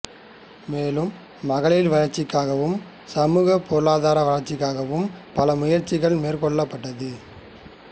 மேலும் மகளிர் வளர்ச்சிக்காகவும் சமூக பொருளாதார வளர்ச்சிக்காகவும் பல முயற்சிகள் மேற்கொள்ளப்பட்டது